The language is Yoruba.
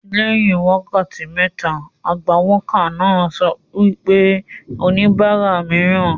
Lẹ́yìn wákàtí méta, agbawókà náà sọ pé ' oníbàárà mìíràn